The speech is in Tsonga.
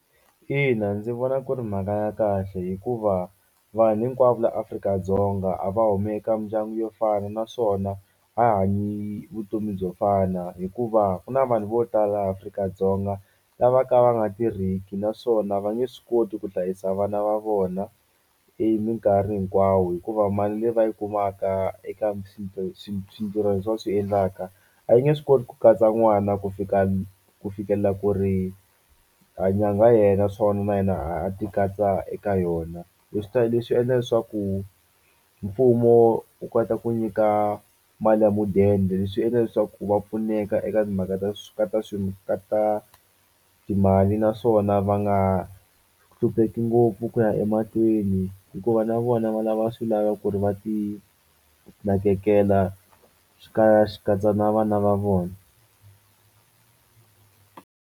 Ina ndzi vona ku ri mhaka ya kahle hikuva vanhu hinkwavo la Afrika-Dzonga a va humi eka mindyangu yo fana naswona a hi hanyi vutomi byo fana hikuva ku na vanhu vo tala Afrika-Dzonga lava ka va nga tirhiki naswona va nge swi koti ku hlayisa vana va vona eminkarhi hinkwawo hikuva mali leyi va yi kumaka eka va swi swintirhwani leswi va swi endlaka a yi nge swi koti ku katsa n'wana ku fika ku fikela ku ri a nyangha yi hela na yena a a ti katsa eka yona leswi ta leswi endla leswaku mfumo wu kota ku nyika mali ya mudende leswi endla leswaku va pfuneka eka timhaka ta ka ta swi ka ta timali naswona va nga hlupheki ngopfu ku ya emahlweni hikuva na vona va lava swilaveko ku ri va ti nakekela swi swi katsa na vana va vona.